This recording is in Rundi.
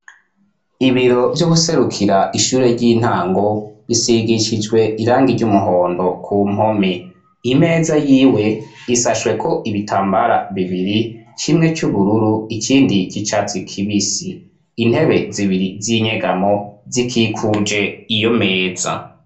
ibiro vy'uwuserukira ishure ry'intango bisigishijwe irangi ry'umuhondo ku mpome, imeza yiwe isashweko ibitambara bibiri kimwe c'ubururu ikindi c'icatsi k'ibisi, intebe zibiri z'inyegamo zikikuje iyo meza.